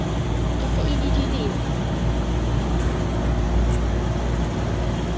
e se e le dilemo